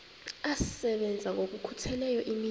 asebenza ngokokhutheleyo imini